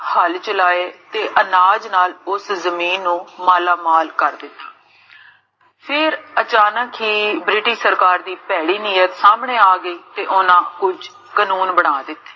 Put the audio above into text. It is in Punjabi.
ਹਲ ਚਲਾਏ, ਤੇ ਅਨਾਜ ਨਾਲ, ਉਸ ਜਮੀਨ ਨੂੰ ਮਾਲਾਮਾਲ ਕਰ ਦਿੱਤਾ ਫੇਰ ਅਚਾਨਕ ਹੀ, british ਸਰਕਾਰ ਦੀ ਭੈੜੀ ਨੀਅਤ ਸਾਮਨੇ ਆ ਗਈ, ਤੇ ਓਨਾ ਕੁਛ ਕਾਨੂਨ ਬਣਾ ਦਿੱਤੇ